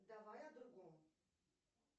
давай о другом